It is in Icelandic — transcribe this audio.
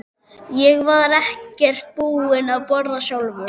Ég var ekkert búinn að borða sjálfur.